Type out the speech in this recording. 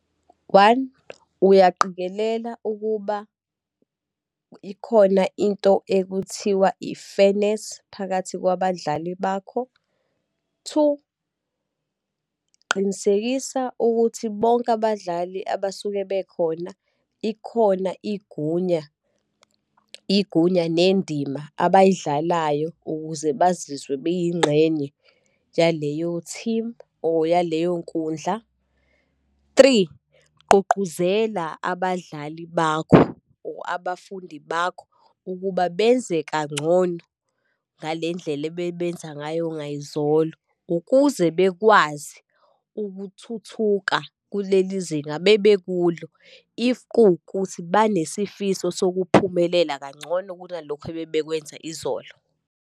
One, uyaqikelela ukuba ikhona into ekuthiwa i-fairness phakathi kwabadlali bakho. Two, qinisekisa ukuthi bonke abadlali abasuke bekhona, ikhona igunya, igunya nendima abayidlalayo ukuze bazizwe beyingxenye yaleyo-team or yaleyonkundla. Three, gqugquzela abadlali bakho, or abafundi bakho ukuba benze kangcono ngale ndlela ebebenza ngayo ngayizolo, ukuze bekwazi ukuthuthuka kuleli zinga abebekulo, if kuwukuthi banesifiso sokuphumelela kangcono kunalokho ababekwenza izolo.